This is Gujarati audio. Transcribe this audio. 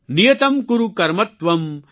નિયતમ્ કુરૂ કર્મ ત્વમ્